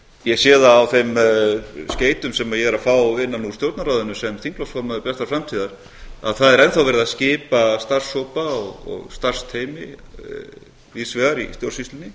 ég sé það á þeim skeytum sem ég er að fá innan úr stjórnarráðinu sem þingflokksmaður bjartrar framtíðar að það er enn þá verið að skipa starfshópa og starfsteymi víðs vegar í stjórnsýslunni